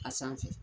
A sanfɛ